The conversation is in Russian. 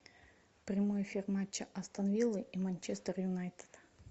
прямой эфир матча астон виллы и манчестер юнайтед